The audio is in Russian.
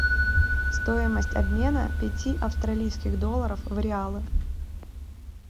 стоимость обмена пяти австралийских долларов в реалы